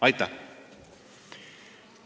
Aitäh!